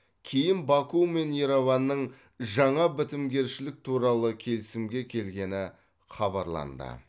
кейін баку мен ереванның жаңа бітімгершілік туралы келісімге келгені хабарланды